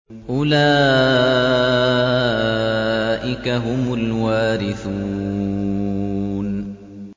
أُولَٰئِكَ هُمُ الْوَارِثُونَ